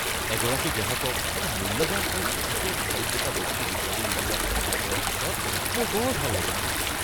এগৰাকী গ্ৰাহকক এটা মূল্যৱান আৰু বহুতে বিচাৰি থকা বস্তু বিচাৰি উলিওৱাত সহায় কৰাৰ পিছত মোৰ বৰ ভাল লাগিছিল।